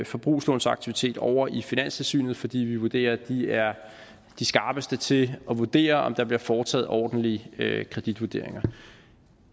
forbrugslånsaktivitet over i finanstilsynet altså fordi vi vurderer at de er de skarpeste til at vurdere om der bliver foretaget ordentlige kreditvurderinger